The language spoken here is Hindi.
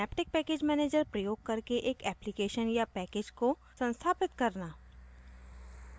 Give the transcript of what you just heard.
synaptic package manager प्रयोग करके एक application या package को संस्थापित करना